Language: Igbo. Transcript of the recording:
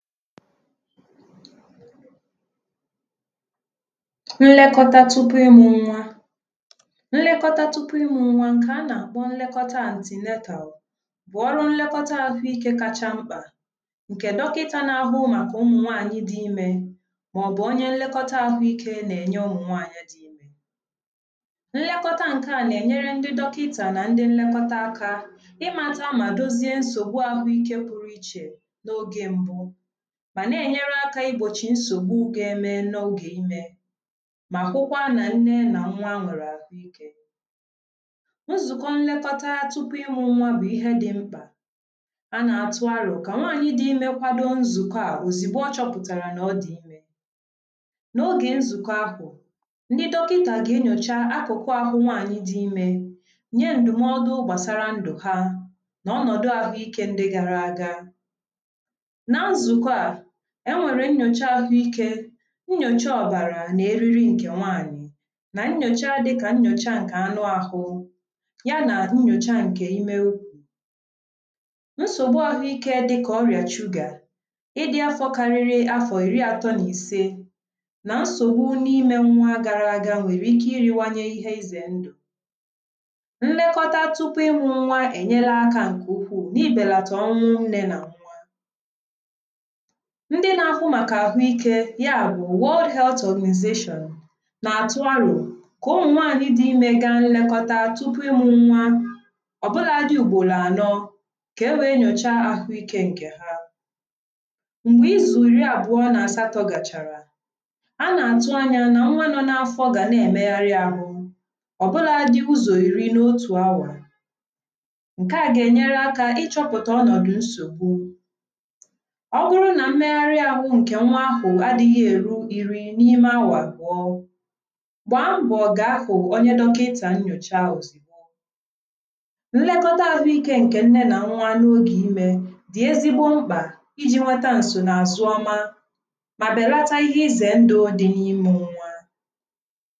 Nlekọta tupu ịmụ nwa. Nlekọta tupu ịmụ nwa nke anà-àkpọ nlekọta antinatal bụ̀ ọrụ nlekọta àhụikė kacha mkpà ǹkè dọkịta na-ahụ màkà ụmụ nwaànyị dị imė màọbụ̀ onye nlekọta ahụikė nà-ènye ụmụ nwaànyị dị. Nlekọta nke à nà-ènyere ndị dọkịta nà ndị nlekọta akȧ, ịmata mà dozie nsògbu àhụikė pụrụ ichè n’oge mbụ̇ mà na-ènyere akȧ ibòchì nsògbu gà -eme n' ọge imė, mà hụkwa nà nne nà nwa nwere àhụ ikė. Nzùkọ nlekọta tupu ịmụ̇ nwa bụ̀ ihe dị̇ mkpà, a na-atụ arọ̇ kà nwaànyị dị imė kwado nzùkọ à òzìgbo ọ chọpụ̀tàrà nà ọ dị̀ imė. N’ogè nzùkọ ahụ̀, ndị dọkịtà gà-enyòcha akụkụ ahụ nwaànyị dị imė, nye ǹdụ̀mọdụ gbàsara ndụ̀ ha nà ọnọ̀dụ àhụike ndị gara àga. Na nzukọ a, enwere nyocha ahụike, nyocha ọbara na eriri nke nwaanyị, na nyocha dịka nyocha nke anụ ahụ, ya na nyocha nke ime ụkwú, nsogbu ahụike dịka ọrịa sụga, ịdị afọ karịrị afọ iri atọ na ise na nsogbu n'ime nwa gara aga, nwere ike iriwanye ihe ize ndụ. Mmekọta tupu ịmụ nwa ènyela akȧ ǹkè ukwuù na ibèlàta ọnwụ nne nà nwa. Ndị na-afụ maka ahụike ya bụ̀ world health organization na-atụ arọ ka ụmụ nwanyị dị ime gaa nlekọta tupu ịmụ nwa. Obụla dị ugboro anọ, ka e wee nyocha ahụike nke ha. Mgbe izu iri abụọ na asatọ gachara, a na-atụ anya na nwa nọ n’afọ ga na-emegharị ahụ, ọbụla dị ụzọ iri n’otu awa. Nke a ga-enyere aka ịchọpụta ọnọdụ nsogbu, ọbụrụ na mmeghari ahụ nke nwa ahụ adịghị eru iri n’ime awa abụọ, gbaa mbọ gaa hụ onye dọkịta nyocha ozigbo. Nlekọta ahụike nke nne na nwa n’oge ime dị ezigbo mkpa iji nweta nso n’azụ ọma ma bèlata ihe ịzè ndụ dị n’imu nwa